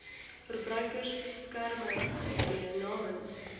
verbruikersbeskermer tree namens